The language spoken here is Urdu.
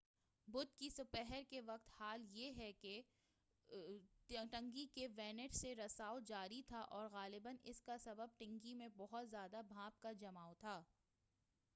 بدھ کی سہ پہر کے وقت کا حال یہ ہے کہ ٹنکی کے وینٹس سے رساؤ جاری تھا اور غالباً اس کا سبب ٹنکی میں بہت زیادہ بھاپ کا جماؤ تھا